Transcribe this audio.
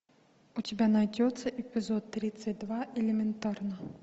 у тебя найдется эпизод тридцать два элементарно